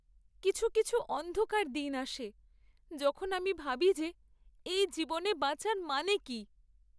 কিছু কিছু অন্ধকার দিন আসে, যখন আমি ভাবি যে এই জীবনে বাঁচার মানে কী?